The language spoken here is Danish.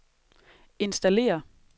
installere